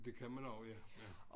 Det kan man også ja ja